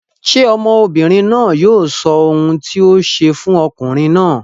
Ṣé ọmọbìnrin náà yóò sọ ohun tí o ṣe fún ọkùnrin náà?